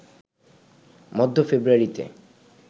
মধ্য ফেব্রুয়ারিতে